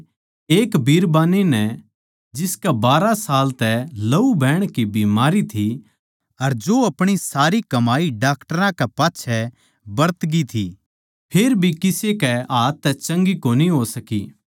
एक बिरबान्नी नै जिसकै बारहां साल तै लहू बहण की बीमारी थी अर जो अपणी सारी कमाई डाक्टरां कै पाच्छै बरतगी थी फेरभी किसे कै हाथ तै चंगी कोनी हो सकी थी